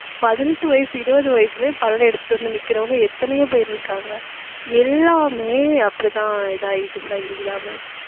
பதினெட்டு வயசு, இருபது வயசுலயே பல்லெடுத்துட்டு வந்து நிக்கிறவங்க எத்தனையோ பேர் இருக்காங்க. எல்லாமே அப்படித்தான் இதாயிட்டு சங்கீதா mam